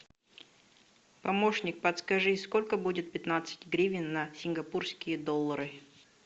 помощник подскажи сколько будет пятнадцать гривен на сингапурские доллары